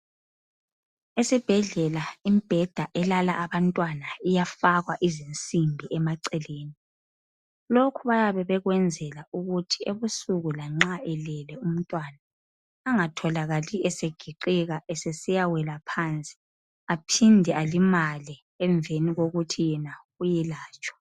Esibhedlela, imibheda elala abantwana iyafakwa izinsimbi emaceleni, lokhu bayabe bekwenzelwa ukuthi ebusuku lanxa elele umntwana angatholakali esegiqika esesiyawela phansi aphinde alimale emveni kokuthi yena uyelatshwa.